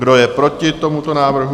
Kdo je proti tomuto návrhu?